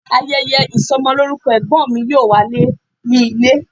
Ayeye isomoloruko egbon mi yoo waye ni ile